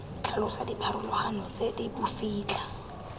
tlhalosa dipharologano tse di bofitlha